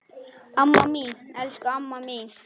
Amma mín, elsku amma mín.